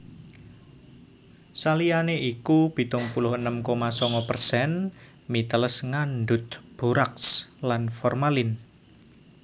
Saliyané iku pitung puluh enem koma sanga persen mi teles ngandhut boraks lan formalin